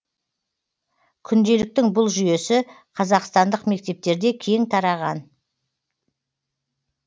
күнделіктің бұл жүйесі қазақстандық мектептерде кең тараған